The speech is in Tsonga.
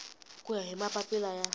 ku ya hi mapapila ya